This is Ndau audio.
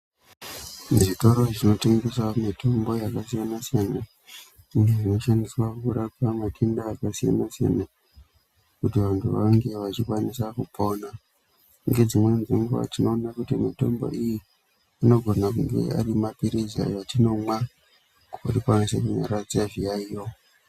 Zvitoro zvinotengesa mitombo yakasiyana siyana iyo inoshandiswa kurapa matenda akasiyana siyana kuti vantu vange vachikwanisa kupona. Ngedzimweni dzenguwa tinoona kuti mitombo iyi inogona kunge ari mapilizi atinomwa kuti tikwanise kunyaradze zviyaiyo.